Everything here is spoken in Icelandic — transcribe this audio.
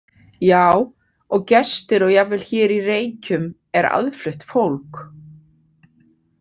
Já, og gestir og jafnvel hér í Reykjum er aðflutt fólk.